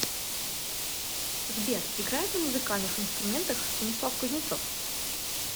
сбер играет на музыкальных инструментах станислав кузнецов